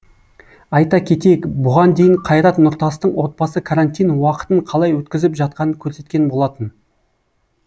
айта кетейік бұған дейін қайрат нұртастың отбасы карантин уақытын қалай өткізіп жатқанын көрсеткен болатын